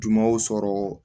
Jumanw sɔrɔ